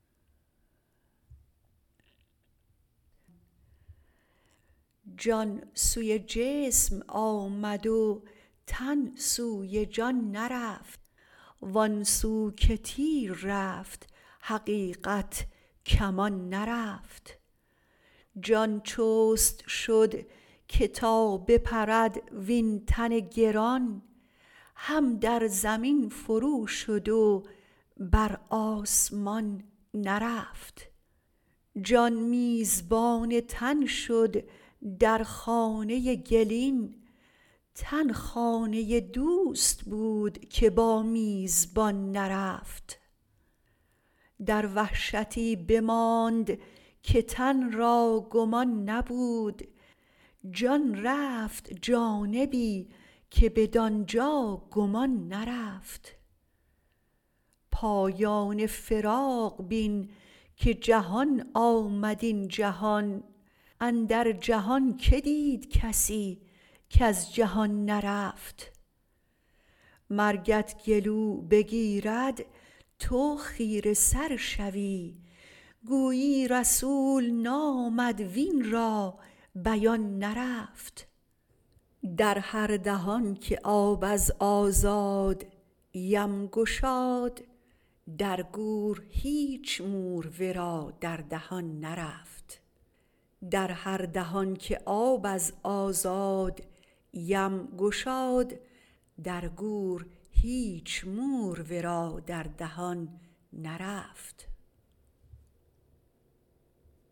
جان سوی جسم آمد و تن سوی جان نرفت وآن سو که تیر رفت حقیقت کمان نرفت جان چست شد که تا بپرد وین تن گران هم در زمین فرو شد و بر آسمان نرفت جان میزبان تن شد در خانه گلین تن خانه دوست بود که با میزبان نرفت در وحشتی بماند که تن را گمان نبود جان رفت جانبی که بدان جا گمان نرفت پایان فراق بین که جهان آمد این جهان اندر جهان کی دید کسی کز جهان نرفت مرگت گلو بگیرد تو خیره سر شوی گویی رسول نامد وین را بیان نرفت در هر دهان که آب از آزادیم گشاد در گور هیچ مور ورا در دهان نرفت